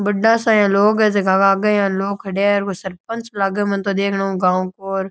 बड़ा सा इया लोग है जेके के आगे इया लोग खड़िया है कोई सरपंच लाग मैंने तो देखने ऊ गांव को र।